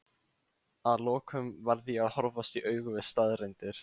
að lokum varð ég að horfast í augu við staðreyndir.